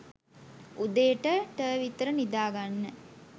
උදේ .ට .ට විතර නිදාගන්න